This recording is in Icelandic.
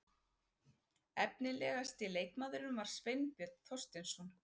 Efnilegasti leikmaðurinn var Sveinbjörn Þorsteinsson.